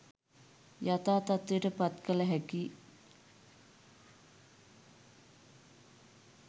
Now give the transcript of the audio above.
යථා තත්ත්වයට පත් කළ හැකි